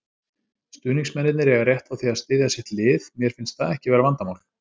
Stuðningsmennirnir eiga rétt á því að styðja sitt lið, mér finnst það ekki vera vandamál.